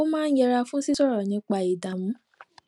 ó máa ń yẹra fún sísòrò nípa ìdààmú